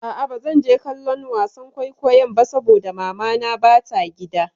A'a bazan je kallon wasan kwaikwayon ba saboda mamana ba ta gida.